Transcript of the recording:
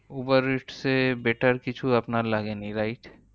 Uber eats এ better কিছু আপনার লাগেনি। wright?